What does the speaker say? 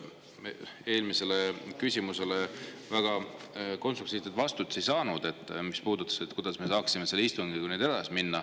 Eelmisele küsimusele, mis puudutas seda, kuidas me saaksime istungiga edasi minna, me väga konstruktiivset vastust saanud.